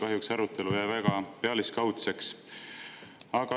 Kahjuks jäi arutelu väga pealiskaudseks.